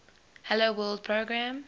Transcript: hello world program